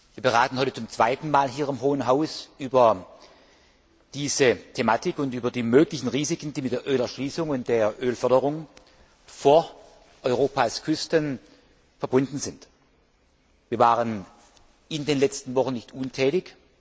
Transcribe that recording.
Wir beraten heute zum zweiten Mal hier im Hohen Haus über diese Thematik und über die möglichen Risiken, die mit der Ölerschließung und mit der Ölförderung vor Europas Küsten verbunden sind. Wir waren in den letzten Wochen nicht untätig.